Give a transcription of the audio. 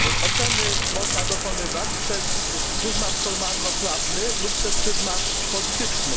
Oceny można dokonywać przez pryzmat formalno prawny lub przez pryzmat polityczny.